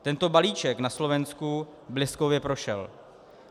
Tento balíček na Slovensku bleskově prošel.